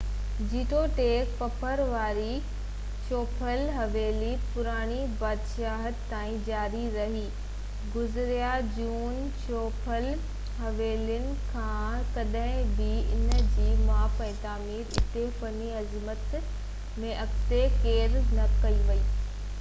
جيتوڻيڪ پٿر واري چوپهل-حويلي پراڻي بادشاهت تائين جاري رهي گزا جون چوپهل حويلين کان ڪڏهن به انهن جي ماپ ۽ تعميراتي فني عظمت ۾ اڳتي ڪير نه وڌي سگهيو